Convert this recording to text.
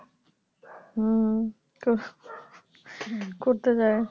হম তো করতে চায়